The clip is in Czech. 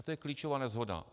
A to je klíčová neshoda.